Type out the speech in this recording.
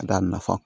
Ka d'a nafa